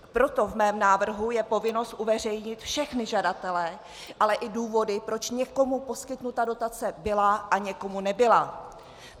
Proto v mém návrhu je povinnost uveřejnit všechny žadatele, ale i důvody, proč někomu poskytnuta dotace byla a někomu nebyla.